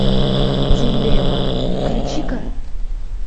дилемма включи ка